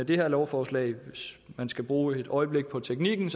det her lovforslag hvis man skal bruge et øjeblik på teknikken